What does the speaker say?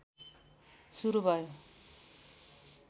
सुरु भयो